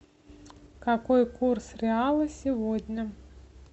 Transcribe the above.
какой курс реала сегодня